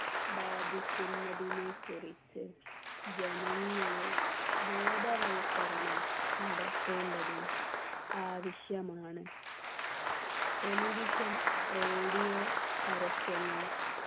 ബാധിക്കുന്നതിനെക്കുറിച്ച് ജനങ്ങളിൽ ബോധവൽക്കരണം നടത്തേണ്ടതും ആവശ്യമാണ് television radio പരസ്യങ്ങൾ